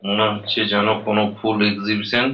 মনে হচ্ছে যেন কোনো ফুল এক্সিবিশন ।